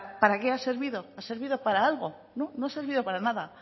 para qué ha servido ha servido para algo no no ha servido para nada